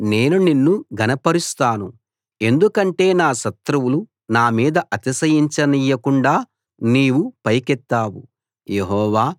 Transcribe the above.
యెహోవా నేను నిన్ను ఘనపరుస్తాను ఎందుకంటే నా శత్రువులు నా మీద అతిశయించనియ్యకుండా నీవు పైకెత్తావు